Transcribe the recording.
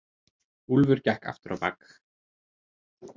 Úlfur gekk aftur á bak.